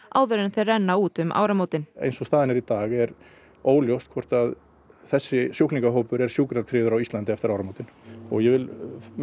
áður en þeir renna út um áramótin eins og staðan er í dag er óljóst hvort að þessir sjúklingahópur er sjúkratryggður eftir áramótin ég vil